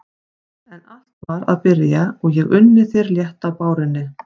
En allt var að byrja og ég unni þér létt á bárunni.